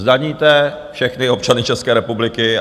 Zdaníte všechny občany České republiky.